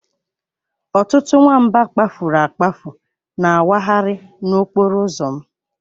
Ọtụtụ nwamba kpafuru akpafu na-awagharị n'okporo ụzọ m.